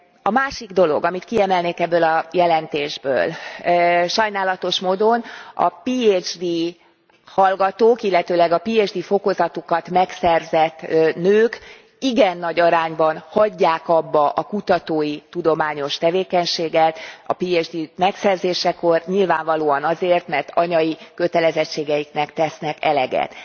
A másik dolog, amit kiemelnék ebből a jelentésből, sajnálatos módon a Phd hallgatók, illetőleg a Phd fokozatukat megszerzett nők igen nagy arányban hagyják abba a kutatói, tudományos tevékenységet a Phd megszerzésekor nyilvánvalóan azért, mert anyai kötelezettségeiknek tesznek eleget.